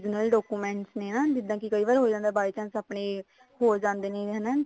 original documents ਨੇ ਜਿੱਦਾਂ ਕਈ ਵਾਰ ਹੋ ਜਾਂਦਾ ਆਪਣੇ ਖੋ ਜਾਂਦੇ ਨੇ ਹਨਾ